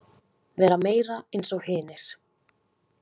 Vera meira eins og hinir.